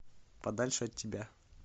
подальше от тебя